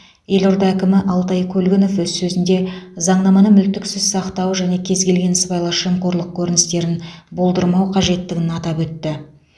елорда әкімі алтай көлгінов өз сөзінде заңнаманы мүлтіксіз сақтау және кез келген сыбайлас жемқорлық көріністерін болдырмау қажеттігін атап өтті